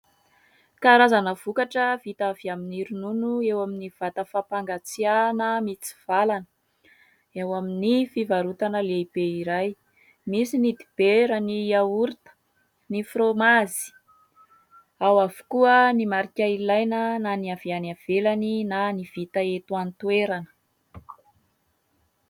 Karazana vokatra vita avy amin'ny ronono eo amin'ny vata fampangatsiahana mitsivalana eo amin'ny fivarotana lehibe iray ; misy ny dibera, ny "yaourt", ny fromazy. Ao avokoa ny marika ilaina na ny avy any ivelany na ny vita eto an-toerana.